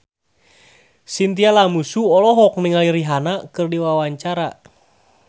Chintya Lamusu olohok ningali Rihanna keur diwawancara